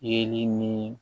Yeli ni